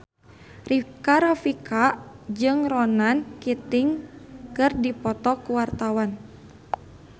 Rika Rafika jeung Ronan Keating keur dipoto ku wartawan